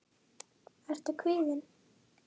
Helga: Ertu kvíðinn?